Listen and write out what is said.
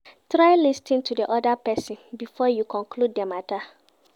Try lis ten to di other person before you conclude di matter